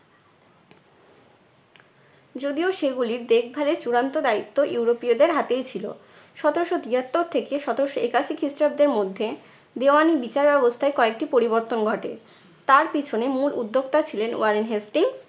যদিও সেগুলি দেখভালের চূড়ান্ত দায়িত্ব ইউরোপীয় দের হাতেই ছিলো। সতেরশো তিয়াত্তর থেকে সতেরশো একাশি খ্রিস্টাব্দের মধ্যে দেওয়ানি বিচার ব্যবস্থায় কয়েকটি পরিবর্তন ঘটে। তার পিছনে মূল উদ্যোক্তা ছিলেন ওয়ারেন হেস্টিং